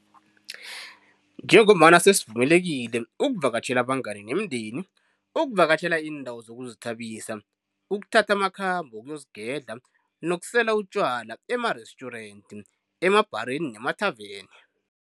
Njengombana sesivumelekile ukuvakatjhela abangani nemindeni, ukuvakatjhela iindawo zokuzithabisa, ukuthatha amakhambo wokuyozigedla nokusela utjwala emarestjurenti, emabhareni nemathaveni.